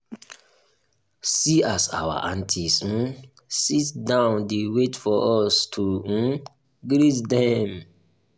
see as our aunties um sit down dey wait for us to um greet dem.